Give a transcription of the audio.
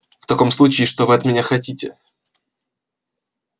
в таком случае что вы от меня хотите